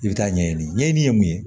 I bɛ taa ɲɛɲini ɲɛɲini ye mun ye